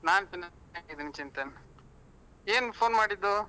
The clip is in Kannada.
ನಾನು ಚೆನ್ನಾಗಿದ್ದೇನೆ ಚಿಂತನ್ ಏನ್ phone ಮಾಡಿದ್ದು?